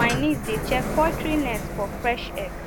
my niece dey check poultry nest for fresh egg